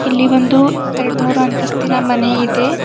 ಇಲ್ಲಿ ಒಂದು ಎರಡ್ಮೂರ್ ಹಂತಸ್ತಿನ ಮನೆ ಇದೆ.